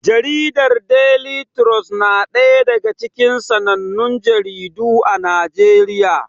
Jaridar Deli trus na ɗaya daga cikin sanannun jaridu a Najeriya.